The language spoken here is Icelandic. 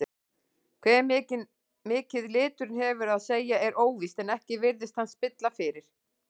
Hve mikið liturinn hefur að segja er óvíst en ekki virðist hann spilla fyrir.